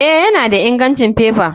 Eh, yana da ingancin faifa.